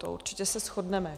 To se určitě shodneme.